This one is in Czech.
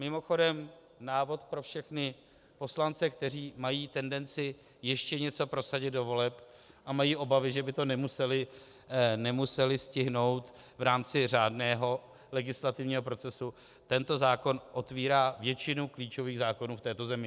Mimochodem návod pro všechny poslance, kteří mají tendenci ještě něco prosadit do voleb a mají obavy, že by to museli stihnout v rámci řádného legislativního procesu, tento zákon otevírá většinu klíčových zákonů v této zemi.